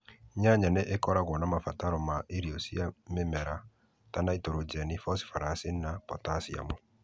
Nyanya nĩ ikoragwo na mabataro ma irio cia mĩmera ta naitũrũjeni, bocibaraci na botaciamu.